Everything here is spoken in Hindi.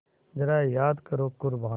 ज़रा याद करो क़ुरबानी